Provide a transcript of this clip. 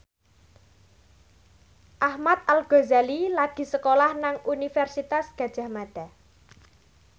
Ahmad Al Ghazali lagi sekolah nang Universitas Gadjah Mada